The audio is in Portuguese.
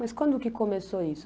Mas quando que começou isso?